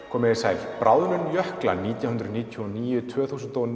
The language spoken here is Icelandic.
komið þið sæl bráðnun jökla nítján hundruð níutíu og níu til tvö þúsund og